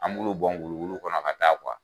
An m'olu bɔn wulu wulu kɔnɔ ka taa